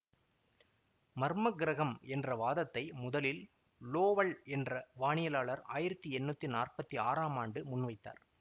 மர்மக் கிரகம் என்ற வாதத்தை முதலில் லோவல் என்ற வானியலார் ஆயிரத்தி எண்ணூற்றி நாற்பத்தி ஆறாம் ஆண்டு முன் வைத்தார்